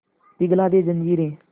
पिघला दे जंजीरें